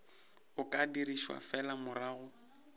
o ka dirišwa fela morago